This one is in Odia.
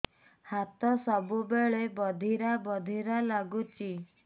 ହାତ ସବୁବେଳେ ବଧିରା ବଧିରା ଲାଗୁଚି